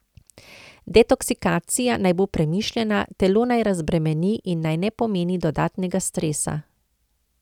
Detoksikacija naj bo premišljena, telo naj razbremeni in naj ne pomeni dodatnega stresa.